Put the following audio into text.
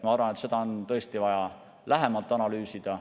Ma arvan, et seda on tõesti vaja lähemalt analüüsida.